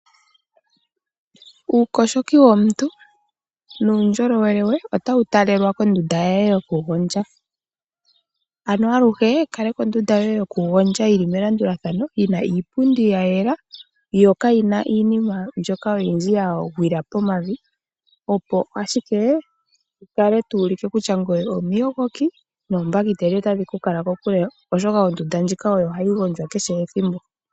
Uukoshoki womuntu nuundjolowele we, otawu talelwa kondunda ye yoku gondja. Ano aluhe kaleka ondunda yoye yoku gondja yili melandulathano, yina iipundi ya yela, yo kayi iinima mbyoka oyindji ya gwila pomavi, opo ashike wu kale to ulike kutya ngoye omuyogoki, noombakiteli otadhi ku kala kokule, oshoka ondunda ndjika oyo hayi gondjwa kehe ethimbo.